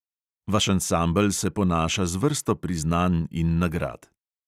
Vaš ansambel se ponaša z vrsto priznanj in nagrad.